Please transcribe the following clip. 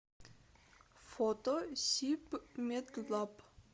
фото сибмедлаб